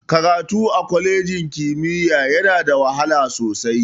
Karatu a kwalejin ƙimiya yana da wahala sosai.